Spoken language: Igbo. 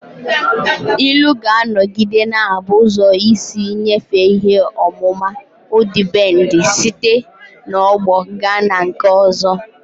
Ilu ga-anọgide na-abụ ụzọ isi nyefee ihe ọmụma ọdịbendị site n'ọgbọ gaa na nke ọzọ